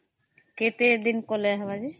କେତେ ଦିନ କଲେ ହେବ ଯେ ?